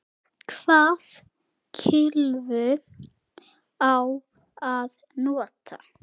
Hvaða kylfu á að nota?